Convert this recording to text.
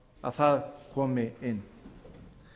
að það komi inn